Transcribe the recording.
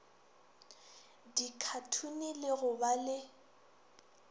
dikhathune le go ba le